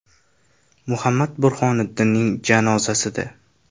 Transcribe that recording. Muhammad Burhoniddinning janozasida.